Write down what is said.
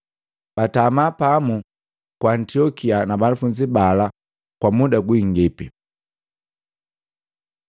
Batama pamu ku Antiokia na banafunzi bala kwa muda gwingipi.